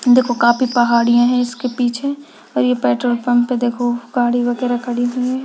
देखो काफी पहाड़ीयां हैं इसके पीछे और ये पेट्रोल पम्प पे देखो गाड़ी वगैरा खड़ी हुई हैं।